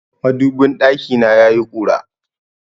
Madubin ɗakina yayi ƙura.